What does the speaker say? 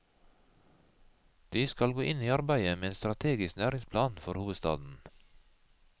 De skal gå inn i arbeidet med en strategisk næringsplan for hovedstaden.